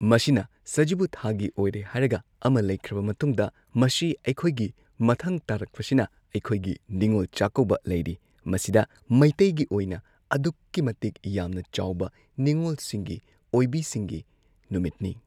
ꯃꯁꯤꯅ ꯁꯖꯤꯕꯨ ꯊꯥꯒꯤ ꯑꯣꯏꯔꯦ ꯍꯥꯏꯔꯒ ꯑꯃ ꯂꯩꯈ꯭ꯔꯕ ꯃꯇꯨꯡꯗ ꯃꯁꯤ ꯑꯩꯈꯣꯏꯒꯤ ꯃꯊꯪ ꯇꯥꯔꯛꯄꯁꯤꯅ ꯑꯩꯈꯣꯏꯒꯤ ꯅꯤꯉꯣꯜ ꯆꯥꯛꯀꯧꯕ ꯂꯩꯔꯤ꯫ ꯃꯁꯤꯗ ꯃꯩꯇꯩꯒꯤ ꯑꯣꯏꯅ ꯑꯗꯨꯛꯀꯤ ꯃꯇꯤꯛ ꯌꯥꯝꯅ ꯆꯥꯎꯕ ꯅꯤꯉꯣꯜꯁꯤꯡꯒꯤ ꯑꯣꯏꯕꯤꯁꯤꯡꯒꯤ ꯅꯨꯃꯤꯠꯅꯤ꯫